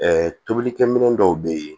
tobilikɛminɛn dɔw bɛ yen